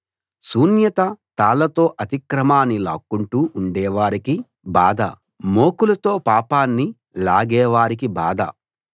శూన్యత తాళ్ళతో అతిక్రమాన్ని లాక్కుంటూ ఉండే వారికి బాధ మోకులతో పాపాన్ని లాగే వారికి బాధ